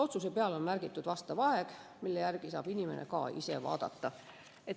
Otsuse peale on märgitud aeg, mille järgi saab inimene ka ise seda vaadata.